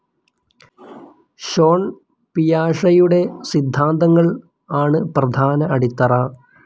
Sean പിയാഷെയുടെ സിദ്ധാന്തങ്ങൾ ആണ് പ്രധാന അടിത്തറ.